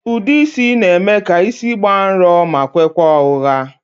Ude isi n'eme ka isi gbàà nrò ma kwekwaa ọhụha